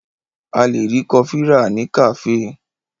A lè rí kọfí rà ní kàféè.